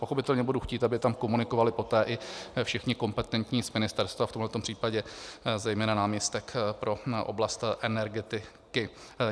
Pochopitelně budu chtít, aby tam komunikovali poté i všichni kompetentní z ministerstva, v tomhle případě zejména náměstek pro oblast energetiky.